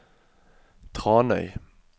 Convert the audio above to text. Tranøy